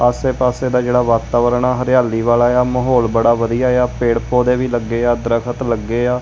ਆਸੇ ਪਾਸੇ ਦਾ ਜਿਹੜਾ ਵਾਤਾਵਰਨ ਹਰਿਆਲੀ ਵਾਲਾ ਆ ਮਾਹੌਲ ਬੜਾ ਵਧੀਆ ਆ ਪੇੜ ਪੋਦੇ ਵੀ ਲੱਗੇ ਆ ਦਰਖਤ ਲੱਗੇ ਆ।